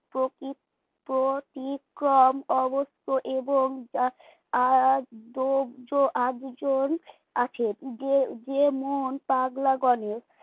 প্রতি প্রতিক্রম অবশ্য এবং আর আছে যে মন পাগলা গনে